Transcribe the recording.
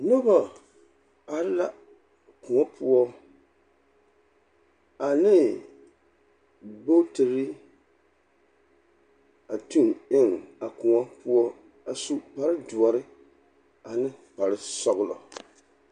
Nobɔ are la kõɔ poɔ, ane bogtiri, a tuŋ eŋ a kõɔ poɔ a su kparedoɔre ane kparesɔgelɔ.